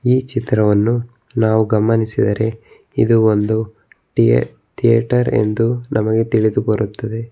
ಈ ಚಿತ್ರವನ್ನು ನಾವು ಗಮನಿಸಿದರೆ ಇದು ಒಂದು ಥೇಯೇ ಥೀಯೇಟರ್ ಎಂದು ನಮಗೆ ತಿಳಿದು ಬರುತ್ತದೆ.